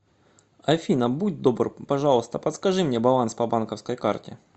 афина будь добр пожалуйста подскажи мне баланс по банковской карте